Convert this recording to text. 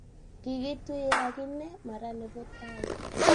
kikituye ak inne mara ne bo taii.